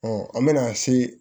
an bɛna se